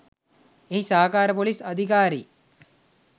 එහි සහකාර ‍පොලිස් අධිකාරි